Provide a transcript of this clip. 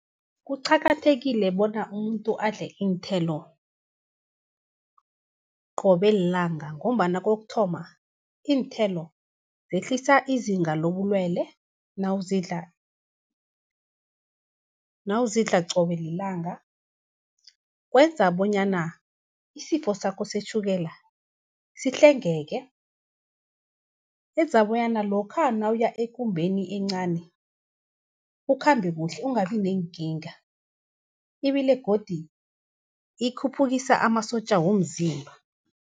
Kuqakathekile bona umuntu adle iinthelo qobe lilanga, ngombana kokuthoma iinthelo zehlisa izinga lobulwele nawuzidla qobe lilanga. Kwenza bonyana isifosakho setjhukela, sihlengeke, enza bonyana lokha nawuya ekumbeni encani, ukhambekuhle ungabi neenkinga. Ibile godu ikhuphukisa amasotja womzimba.